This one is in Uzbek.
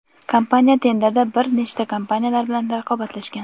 kompaniya tenderda br nechta kompaniyalar bilan raqobatlashgan.